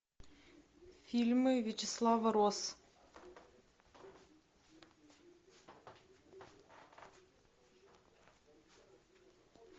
фильмы вячеслава росс